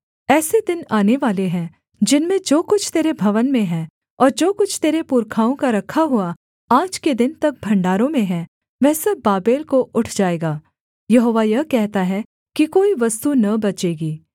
ऐसे दिन आनेवाले हैं जिनमें जो कुछ तेरे भवन में हैं और जो कुछ तेरे पुरखाओं का रखा हुआ आज के दिन तक भण्डारों में है वह सब बाबेल को उठ जाएगा यहोवा यह कहता है कि कोई वस्तु न बचेगी